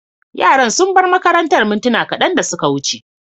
Yaran sun bar makarantar mintuna kadan da suka wuce.